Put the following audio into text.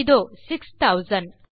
இதோ 6000